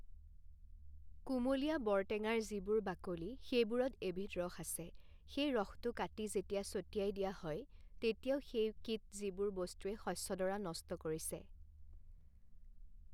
কোমলীয়া বৰটেঙাৰ যিবোৰ বাকলি, সেইবোৰত এবিধ ৰস আছে, সেই ৰসটো কাটি যেতিয়া চটিয়াই দিয়া হয় তেতিয়াও সেই কিট যিবোৰ বস্তুৱে শষ্যডৰা নষ্ট কৰিছে